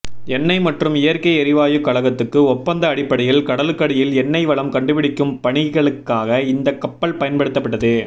எண்ணெய் மற்றும் இயற்கை எரிவாயுக் கழகத்துக்கு ஒப்பந்த அடிப்படையில் கடலுக்கடியில் எண்ணெய் வளம் கண்டுபிடிக்கும் பணிகளுக்காக இந்தக் கப்பல் பயன்படுத்தப்பட்டது